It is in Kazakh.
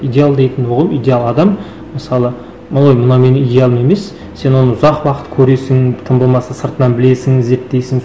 идеал дейтін ол идеал адам мысалы ой мынау менің идеалым емес сен оны ұзақ уақыт көресің тым болмаса сыртынан білесің зерттейсің